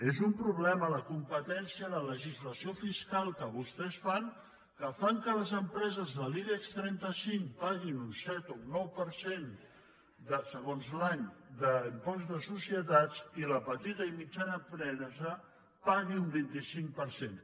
és un problema a la competència la legislació fiscal que vostès fan que fan que les empreses de l’ibex trenta cinc paguin un set o un nou per cent segons l’any d’impost de societats i la petita i mitjana empresa pagui un vint cinc per cent